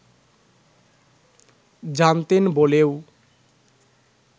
জানতেন বলেও